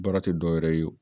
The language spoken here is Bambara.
Baara tɛ dɔwɛrɛ ye o